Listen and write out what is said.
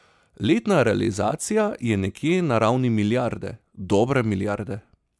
Letna realizacija je nekje na ravni milijarde, dobre milijarde.